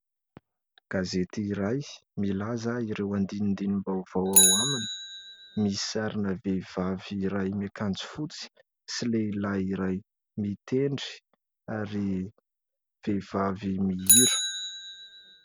Gazety iray milaza ireo andinindinim-baovao ao aminy. Misy sarina vehivavy iray miakanjo fotsy sy lehilahy iray mitendry ary vehivavy mihira.